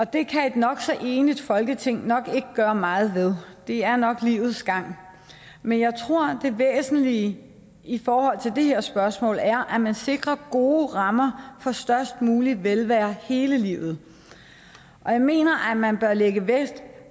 det kan et nok så enigt folketing nok ikke gøre meget ved det er nok livets gang men jeg tror at det væsentlige i forhold til det her spørgsmål er at man sikrer gode rammer for størst mulig velvære hele livet og jeg mener at man bør lægge vægt